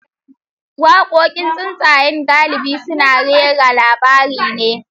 Wakokin tatsuniya galibi suna rera labari ne.